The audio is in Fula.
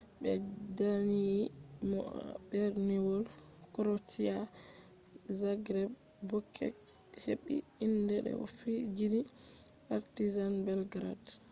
ɓe danyi mo ha berniwol krotia zagreb bobek heɓɓi inde de o fijini partisan belgrade